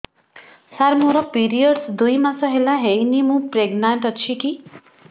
ସାର ମୋର ପିରୀଅଡ଼ସ ଦୁଇ ମାସ ହେଲା ହେଇନି ମୁ ପ୍ରେଗନାଂଟ ଅଛି କି